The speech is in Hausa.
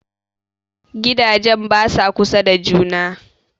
Gidajen basa kusa da juna